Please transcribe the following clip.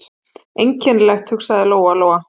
Einkennilegt, hugsaði Lóa-Lóa.